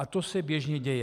A to se běžně děje.